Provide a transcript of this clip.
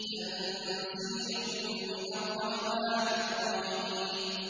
تَنزِيلٌ مِّنَ الرَّحْمَٰنِ الرَّحِيمِ